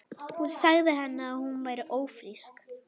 Hún sagði henni að hún væri ófrísk.